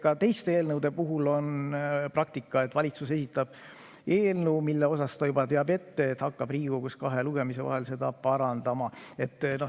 Ka teiste eelnõude puhul on praktika, et valitsus esitab eelnõu, mille puhul ta juba teab ette, et hakkab Riigikogus kahe lugemise vahel seda parandama.